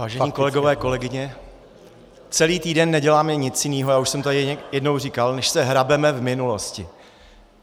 Vážení kolegové, kolegyně, celý týden neděláme nic jiného, já už jsem to jednou říkal, než se hrabeme v minulosti.